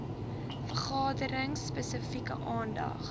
vergaderings spesifieke aandag